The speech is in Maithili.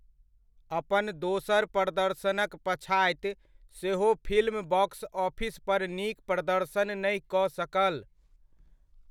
अपन दोसर प्रदर्शनक पछाति सेहो फिल्म बॉक्स ऑफिस पर नीक प्रदर्शन नहि कऽ सकल।